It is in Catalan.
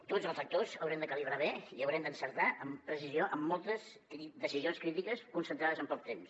tots els actors haurem de calibrar bé i haurem d’encertar amb precisió en moltes decisions crítiques concentrades en poc temps